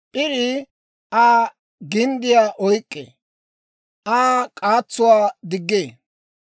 P'irii Aa ginddiyaa oyk'k'ee; Aa k'aatsuwaa diggee.